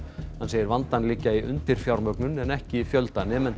hann segir vandann liggja í undirfjármögnun en ekki fjölda nemenda